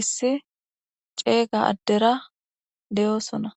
issi ceeyga addera deyoosona